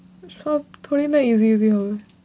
সব না easy easy হবে।